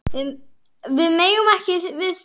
Við megum ekki við því.